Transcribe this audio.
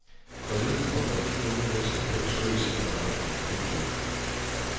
Forleden kom der fire unge mennesker på besøg sent om aftenen. punktum